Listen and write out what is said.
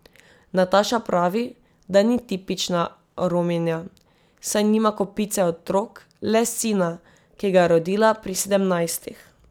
Nataša pravi, da ni tipična Rominja, saj nima kopice otrok, le sina, ki ga je rodila pri sedemnajstih.